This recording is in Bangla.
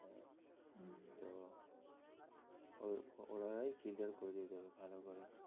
ওনারাই clear করে দেবেন ভালো করে